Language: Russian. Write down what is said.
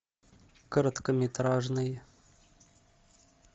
короткометражный